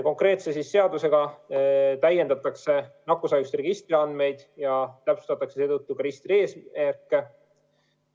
Konkreetse seadusega täiendatakse nakkushaiguste registri andmeid ja täpsustatakse seetõttu ka registri eesmärke.